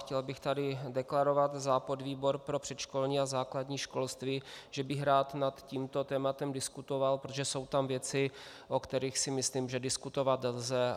Chtěl bych tady deklarovat za podvýbor pro předškolní a základní školství, že bych rád nad tímto tématem diskutoval, protože jsou tam věci, o kterých si myslím, že diskutovat lze.